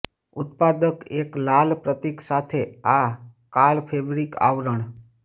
ઉત્પાદક એક લાલ પ્રતીક સાથે આ કાળા ફેબ્રિક આવરણ